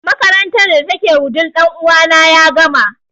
Makarantar da ta ke wudil ɗan uwa na ya gama